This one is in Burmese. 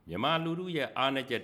မြန်မာလူထု ရဲ့အားနည်းချက်